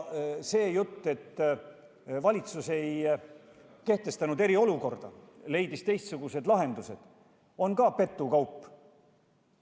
See jutt, et valitsus ei kehtestanud eriolukorda ja leidis teistsugused lahendused, on samuti petukaup.